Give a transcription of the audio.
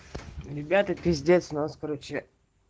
ребята пиздец у нас короче